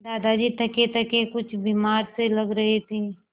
दादाजी थकेथके कुछ बीमार से लग रहे थे